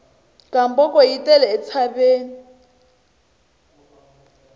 gamboko yi tele entshaveni